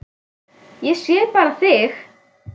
Ég sé bara þig!